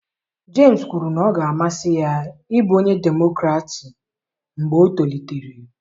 Jemisi kwuru na ọ ga-amasị ya ịbụ onye Demokratị mgbe o tolitere